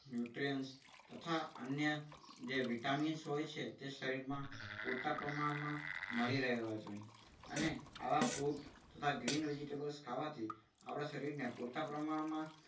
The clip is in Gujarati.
nutrients તથા અન્ય જે vitamin હોય છે શરીરમાં પૂરતા પ્રમાણમાં મળી રહેવા જોઈએ. અને આવા fruit તથા green vegetables ખાવાથી આપણા શરીરને પૂરતા પ્રમાણમાં